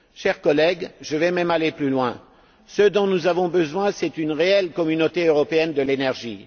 Chers collègues, je vais même aller plus loin. Ce dont nous avons besoin, c'est d'une réelle communauté européenne de l'énergie.